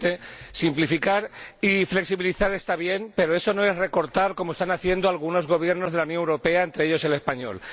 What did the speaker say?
Señor Presidente, simplificar y flexibilizar está bien, pero eso no es recortar como están haciendo algunos Gobiernos de la Unión Europea, entre ellos el español.